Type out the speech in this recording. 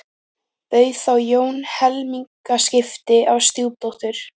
Bauð þá Jón helmingaskipti á stjúpdóttur